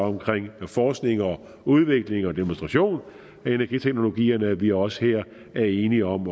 omkring forskning og udvikling og demonstration af energiteknologierne idet vi også her er enige om